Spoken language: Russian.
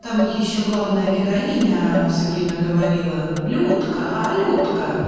там еще главная героиня все время говорила людка а людка